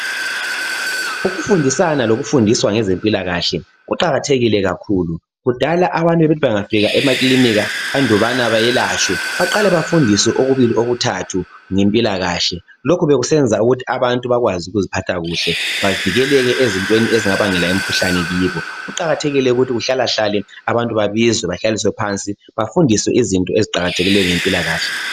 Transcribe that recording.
Ukufundisana lokufundiswa ngezempilakahle kuqakathekile kakhulu kudala abantu bebethi bengafika emakilika andubana bayelatshwe baqale bafundiswe okubili okuthathu ngempilakahle lokhu bekusenza ukuthi abantu bakwazi ukuzphatha kuhle bavikeleke ezintweni ezingabangela imkhuhlane kibo. Kuqakathekile ukuthi kuhlalahlale abantu babizwe bahlaliswe phansi bafundiswe izinto eziqakathekileyo ngempilakahle.